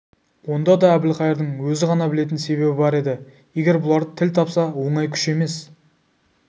онда да әбілқайырдың өзі ғана білетін себебі бар еді егер бұлар тіл тапса оңай күш емес